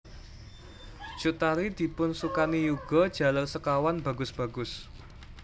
Cut Tari dipunsukani yuga jaler sekawan bagus bagus